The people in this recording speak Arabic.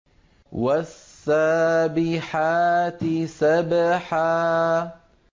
وَالسَّابِحَاتِ سَبْحًا